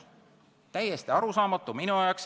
Minu jaoks täiesti arusaamatu.